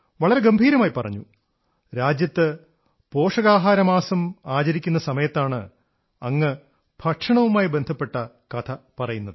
വളരെ ഗംഭീരമായി പറഞ്ഞു രാജ്യത്ത് പോഷകാഹാരമാസം ആചരിക്കുന്ന സമയത്താണ് താങ്കൾ ഭക്ഷണവുമായി ബന്ധപ്പെട്ട കഥ പറയുന്നത്